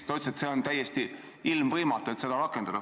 Ta ütles, et on täiesti ilmvõimatu seda rakendada.